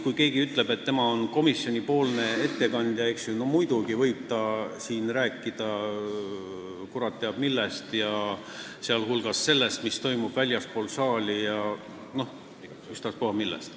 Kui keegi ütleb, et tema on komisjoni ettekandja, siis muidugi võib ta siin rääkida kurat teab millest, sh sellest, mis toimub väljaspool saali, ükstaspuha millest.